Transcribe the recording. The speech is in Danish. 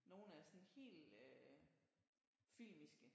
Nogle er sådan helt øh filmiske